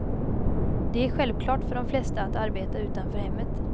Det är självklart för de flesta att arbeta utanför hemmet.